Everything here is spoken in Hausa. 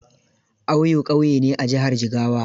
Auyo ƙauye ne a jihar Jigawa.